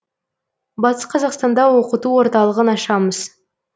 батыс қазақстанда оқыту орталығын ашамыз